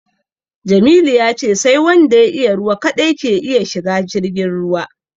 Jamilu ya ce sai wanda ya iya ruwa kaɗai ke iya shiga jirgin ruwa